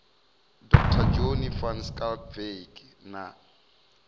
dr johnny van schalkwyk na